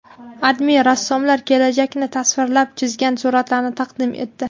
AdMe rassomlar kelajakni tasvirlab chizgan suratlarni taqdim etdi.